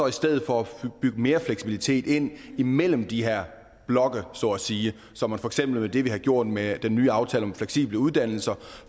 i stedet for bygge mere fleksibilitet ind imellem de her blokke så at sige som for eksempel det vi har gjort med den nye aftale om fleksible uddannelser